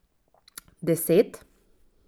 Deset?